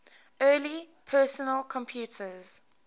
early personal computers